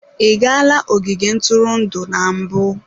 Ị gala ogige ntụrụndụ na mbụ?